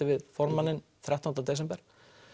við formanninn þrettánda desember